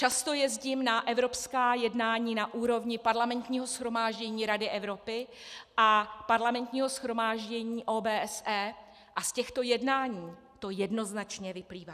Často jezdím na evropská jednání na úrovni Parlamentního shromáždění Rady Evropy a Parlamentního shromáždění OBSE a z těchto jednání to jednoznačně vyplývá.